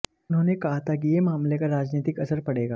उन्होंने कहा था कि यह मामले का राजनीतिक असर पड़ेगा